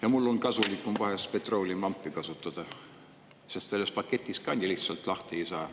Ja mul on kasulikum vahel petrooleumilampi kasutada, sest sellest paketist nii lihtsalt lahti ei saa.